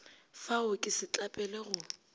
fa o ke setlapele go